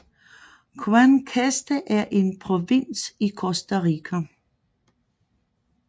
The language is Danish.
Guanacaste er en provins i Costa Rica